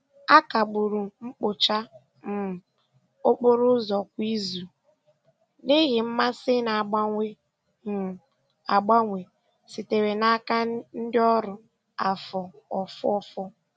A kagburu mkpocha um okporo ụzọ kwa izu n'ihi mmasị na-agbanwe um agbanwe sitere n'aka ndị ọrụ afọ ofufo.